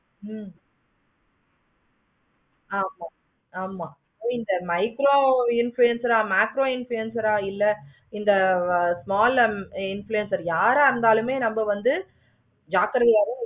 we are the loser ஆமா hmm um இந்த micro influencer macro influencer ஆஹ் இல்ல small influencer ஆஹ் யாரை இருந்தாலுமே நம்ம வந்து ஜாக்கிரதையா இரு.